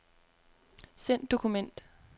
Send dokument.